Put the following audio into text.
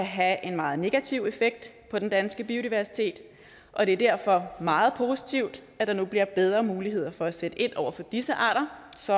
have en meget negativ effekt på den danske biodiversitet og det er derfor meget positivt at der nu bliver bedre muligheder for at sætte ind over for disse arter så